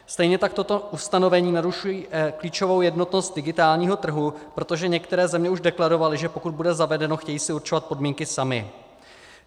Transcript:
Stejně tak tato ustanovení narušují klíčovou jednotnost digitálního trhu, protože některé země už deklarovaly, že pokud bude zavedeno, chtějí si určovat podmínky samy.